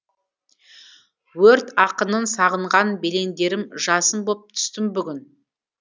өрт ақынын сағынған белеңдерім жасын боп түстім бүгін